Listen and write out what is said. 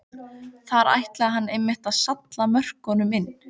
Þar ætlaði hann einmitt að salla mörkunum inn!